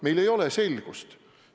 Meil ei ole selgust.